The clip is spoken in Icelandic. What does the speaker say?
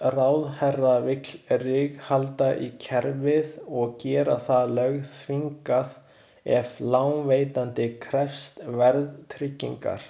Ráðherra vill ríghalda í kerfið og gera það lögþvingað ef lánveitandi krefst verðtryggingar.